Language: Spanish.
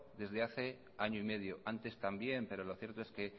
desde hace año y medio antes también pero lo cierto es que